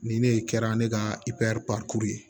Nin ne kɛra ne ka ye